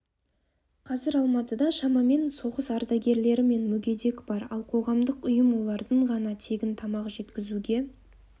қазір алматыда шамамен соғыс ардагері мен мүгедек бар ал қоғамдық ұйым олардың ғана тегін тамақ жеткізуге